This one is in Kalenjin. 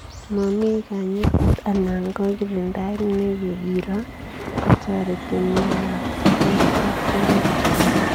Mamii kanyaet anan ko kirindaet nekikiroo kotoretii miondoop seutopelate